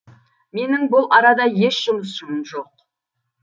менің бұл арада еш жұмысым жоқ